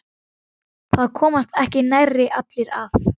Það komast ekki nærri allir að.